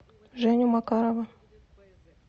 женю макарова